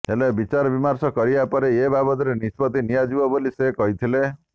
ହେଲେ ବିଚାରବିମର୍ଶ କରିବା ପରେ ଏ ବାବଦରେ ନିଷ୍ପତ୍ତି ନିଆଯିବ ବୋଲି ସେ କହିଥିଲେ